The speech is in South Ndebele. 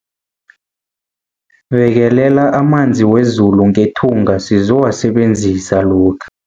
Bekelela amanzi wezulu ngethunga sizowasebenzisa lokha.